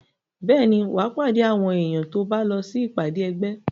Bẹ́ẹ̀ ni, wà á pàdé àwọn èèyàn tó bá lọ sí ìpàdé ẹgbẹ́.